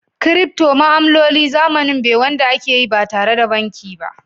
"crypto" ma'amloli zamanin be Wanda akeyi ba tare da banki ba.